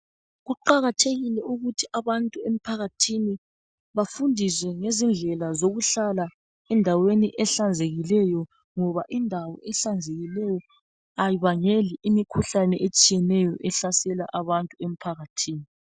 Kuqakathekile ukuthi abantu emphakathini bafundiswe ngezindlela zokuhlala endaweni ehlanzekileyo ngoba indawo ehlanzekileyo ayibangeli imikhuhlane etshiyeneyo ehlasela abantu emphakathini